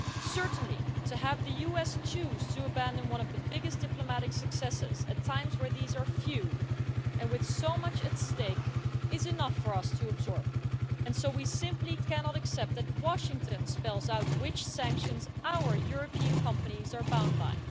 Certainly, to have the US choose to abandon one of the biggest diplomatic successes at times where these are few and with so much at stake is enough for us to absorb, and so we simply cannot accept that Washington spells out which sanctions our European companies are bound by.